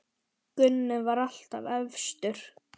Gunni var alltaf efstur.